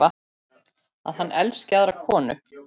Að hann elski aðra konu.